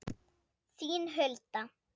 Þín Hulda.